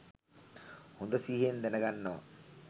හොඳ සිහියෙන් දැනගන්නවා